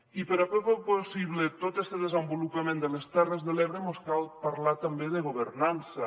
i per poder fer possible tot este desenvolupament de les terres de l’ebre mos cal parlar també de governança